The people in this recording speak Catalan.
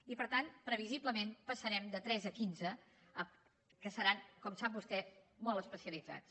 i per tant previsiblement passarem de tres a quinze que seran com sap vostè molt especialitzats